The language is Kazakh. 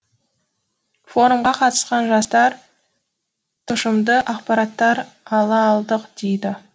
форумға қатысқан жастар тұшымды ақпараттар ала алдық дейді